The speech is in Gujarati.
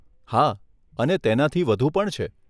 હા, અને તેનાથી પણ વધુ છે.